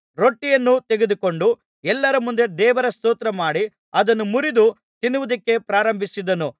ರೊಟ್ಟಿಯನ್ನು ತೆಗೆದುಕೊಂಡು ಎಲ್ಲರ ಮುಂದೆ ದೇವರ ಸ್ತೋತ್ರಮಾಡಿ ಅದನ್ನು ಮುರಿದು ತಿನ್ನುವುದಕ್ಕೆ ಪ್ರಾರಂಭಿಸಿದನು